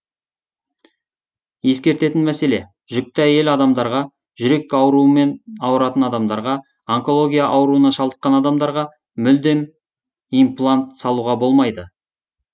ескертетін мәселе жүкті әйел адамдарға жүрек аурымен аурытан адамдарға онкология аурына шалдыққан адамдарға мүлдем имплант салуға болмайды